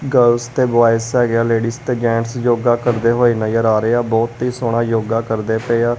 Girls ਤੇ boys ਹੈਗੇ ਆ ਲੇਡੀਜ ਤੇ ਜੈਂਟਸ ਯੋਗਾ ਕਰਦੇ ਹੋਏ ਨਜ਼ਰ ਆ ਰਹੇ ਆ। ਬਹੁਤ ਹੀ ਸੋਹਣਾ ਯੋਗਾ ਕਰਦੇ ਪਏ ਆ।